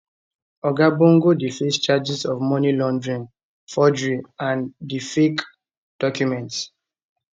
oga bongo dey face charges of money laundering forgery and di fake documents